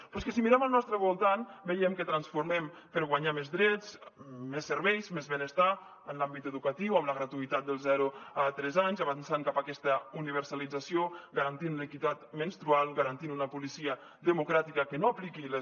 però és que si mirem al nostre voltant veiem que transformem per guanyar més drets més serveis més benestar en l’àmbit educatiu amb la gratuïtat dels zero a tres anys avançant cap a aquesta universalització garantint l’equitat menstrual garantint una policia democràtica que no apliqui les